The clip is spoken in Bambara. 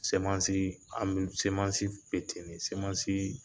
Semansi an be semansi be ten de sɛmansi